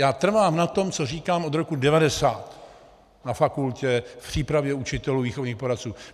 Já trvám na tom, co říkám od roku 1990 na fakultě v přípravě učitelů, výchovných poradců.